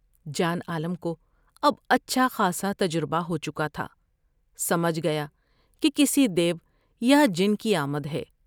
جان عالم کو اب اچھا خاصا تجربہ ہو چکا تھا ، سمجھ گیا کہ کسی دیو یا جن کی آمد ہے ۔